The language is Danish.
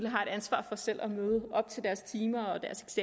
har et ansvar for selv at møde op til deres timer og deres